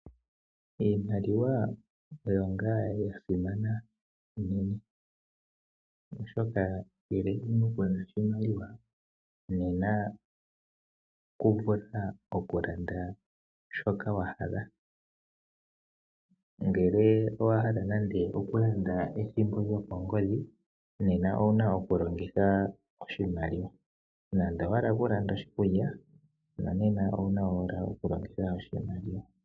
Iimaliwa oyo ngaa ya simana oshoka ngele ku na oshimaliwa nena ito vulu oku landa shoka wa hala. Ngele owa hala nande oku landa ethimbo lyokongodhi nenge oshikulya nena owa pumbwa oku longitha oshimaliwa.